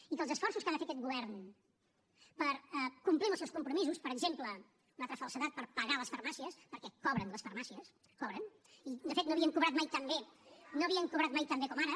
i que els esforços que ha de fer aquest govern per complir amb els seus compromisos per exemple una altra falsedat per pagar les farmàcies perquè cobren les farmàcies cobren i de fet no havien cobrat mai tan bé no havien cobrat mai tan bé com ara